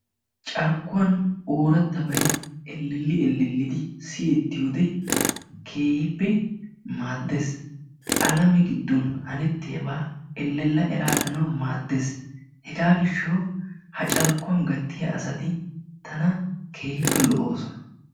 Carkkuwan oorattabay elleli ellelidi siyettiyo wode keehiipe maaddees. Alame gidon hanettiyaabaa ellela eraaganawu maaddees. Hegaa gishshawu ha carkkuwan gattiya asati tana keehiippe lo'oosona.